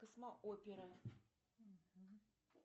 космоопера